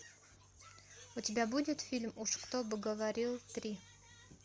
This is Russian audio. у тебя будет фильм уж кто бы говорил три